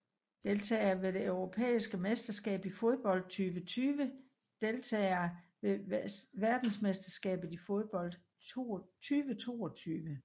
Deltagere ved det europæiske mesterskab i fodbold 2020 Deltagere ved verdensmesterskabet i fodbold 2022